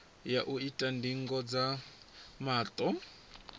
ya u ita ndingo dza maṱo